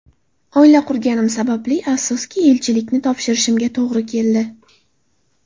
Oila qurganim sababli, afsuski, elchilikni topshirishimga to‘g‘ri keldi.